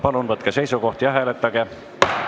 Palun võtke seisukoht ja hääletage!